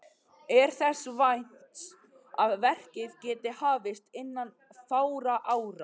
Er þess vænst að verkið geti hafist innan fárra ára.